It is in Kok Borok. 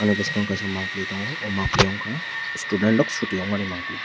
bwskango kaisa mangpli tongo oh mangpili ongkha student rok chutti ongmani mangpli.